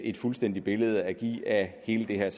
et fuldstændigt billede at give af hele det her